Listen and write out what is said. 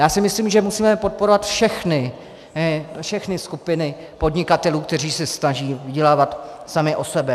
Já si myslím, že musíme podporovat všechny skupiny podnikatelů, kteří se snaží vydělávat sami na sebe.